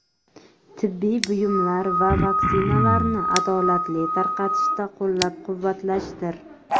tibbiy buyumlar va vaksinalarni adolatli tarqatishda qo‘llab-quvvatlashdir.